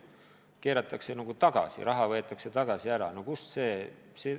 Kõik keeratakse nagu tagasi ja raha nõutakse sisse.